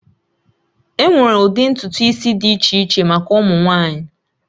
Enwere ụdị ntutu isi dị iche iche maka ụmụ nwanyị